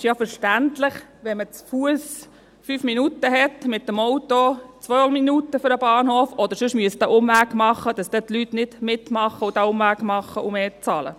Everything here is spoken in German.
Es ist ja verständlich – wenn man zu Fuss 5 Minuten braucht bis zum Bahnhof, mit dem Auto 2 Minuten und sonst einen Umweg machen müsste –, dass die Leute nicht mitmachen, den Umweg machen und mehr bezahlen.